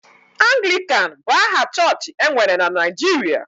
Anglịkan bụ aha chọọchị e nwere na Naịjirịa